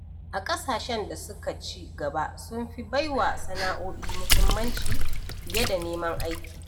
A ƙasashen da suka ci gaba sun fi baiwa sanao'i muhimmanci fiye da neman aiki.